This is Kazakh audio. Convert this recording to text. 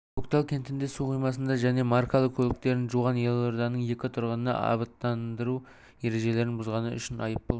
көктал кентінде су қоймасында және маркалы көліктерін жуған елорданың екі тұрғынына абаттандыру ережелерін бұзғаны үшін айыппұл